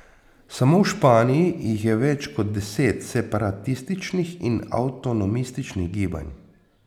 Samo v Španiji jih je več kot deset separatističnih in avtonomističnih gibanj.